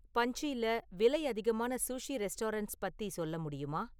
பஞ்சில விலை அதிகமான sushi restaurants பத்தி சொல்ல முடியுமா?